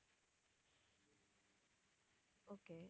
okay